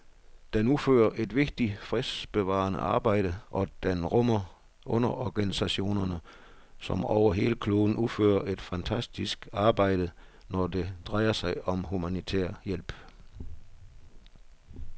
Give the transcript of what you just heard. Den udfører et vigtigt fredsbevarende arbejde, og den rummer underorganisationer, som over hele kloden udfører et fantastisk arbejde, når det drejer sig om humanitær hjælp.